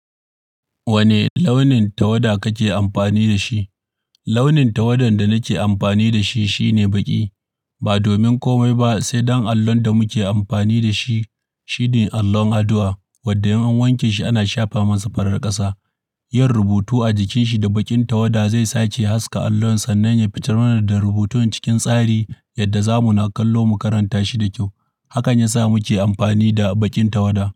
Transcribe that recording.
Wane launin tawada kake amfani da shi? Launin tawadan da nake amfani da shi shine baƙi. Ba domin komai ba sai don allon da muke amfani da shi shine allon addu'a wadda in an wanke shi ana shafa masa farar ƙasa. Yin rubutu a jikin shi da baƙin tawada zai sake haska allon sannan ya fitar da rubutun cikin tsari yadda zamu naƙallo mu karanta shi da kyau. Hakan ya sa muke amfani da baƙin tawada.